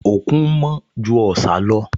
Òkun mọ́ ju Ọ̀sà lọ